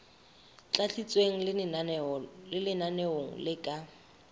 tlatsitsweng tse lenaneong le ka